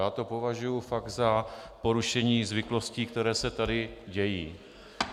Já to považuji fakt za porušení zvyklostí, které se tady dějí.